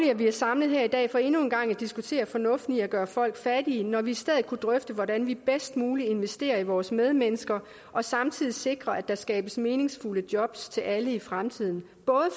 at vi er samlet her i dag for endnu en gang at diskutere fornuften i at gøre folk fattige når vi i stedet kunne drøfte hvordan vi bedst muligt investerer i vores medmennesker og samtidig sikrer at der skabes meningsfulde jobs til alle i fremtiden både